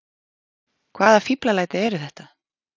Hvaða fíflalæti eru þetta!